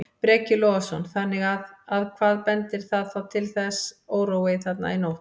Breki Logason: Þannig að, að hvað bendir það þá til þessi órói þarna í nótt?